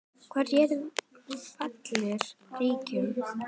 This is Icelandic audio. Þar réð Valur ríkjum.